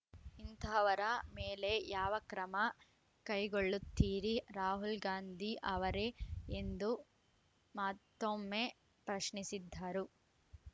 ಇಂತಹವರ ಮೇಲೆ ಯಾವ ಕ್ರಮ ಕೈಗೊಳ್ಳುತ್ತೀರಿ ರಾಹುಲ್‌ ಗಾಂಧಿ ಅವರೇ ಎಂದು ಮಾತ್ತೊಮ್ಮೆ ಪ್ರಶ್ನಿಸಿದ್ದರು